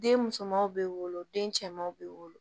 Den musomanw bɛ wolo den cɛmanw bɛ wolo